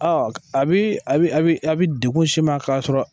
Ɔn a bi dekun s'i ma ka sɔrɔ